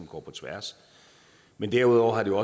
går på tværs men derudover har det